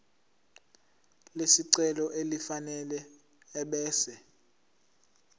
lesicelo elifanele ebese